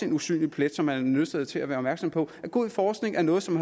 en usynlig plet som man er nødsaget til at være opmærksom på god forskning er noget som